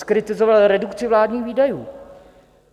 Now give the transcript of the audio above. Zkritizoval redukci vládních výdajů.